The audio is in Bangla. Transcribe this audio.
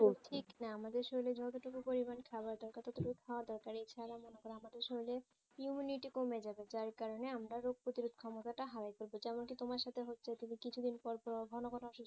ঠিক না আমাদের শরীরে যতটুকু পরিমাণ খাবারের দরকার ততটুকু খাওয়া দরকার এছাড়া মনে করো আমাদের শরীরে immunity কমে যাবে যার কারণে আমরা রোগ প্রতিরোধ ক্ষমতাটা হারায়ে ফেলবো যেমন কি তোমার সাথে হচ্ছে তুমি কিছুদিন পর পর ঘন ঘন অসুস্থ